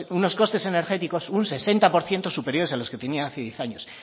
unos costes energéticos un sesenta por ciento superior a los que tenía hace diez años